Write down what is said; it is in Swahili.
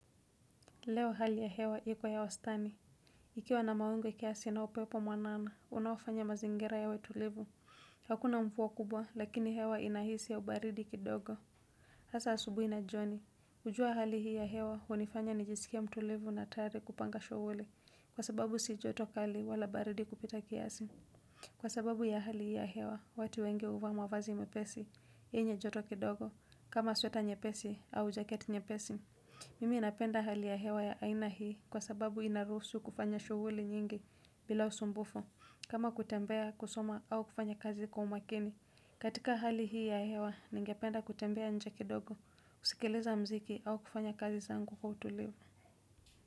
Leo hali ya hewa iko ya wastani. Ikiwa na mawingu kiasi na upepo mwanana, unaofanya mazingira yawe tulivu. Hakuna mvua kubwa, lakini hewa inahisi ya ubaridi kidogo. Hasa asubuhi na jioni. Hujua hali hii ya hewa, hunifanya nijisikie mtulivu na tayari kupanga shughuli Kwa sababu si joto kali wala baridi kupita kiasi. Kwa sababu ya hali hii ya hewa, watu wengi huvaa mavazi mepesi. Yenye joto kidogo. Kama sweta nyepesi, au jaketi nyepesi. Mimi napenda hali ya hewa ya aina hii kwa sababu inaruhusu kufanya shughuli nyingi bila usumbufu kama kutembea kusoma au kufanya kazi kwa umakini katika hali hii ya hewa ningependa kutembea nje kidogo kusikiliza muziki au kufanya kazi zangu kwa utulivu.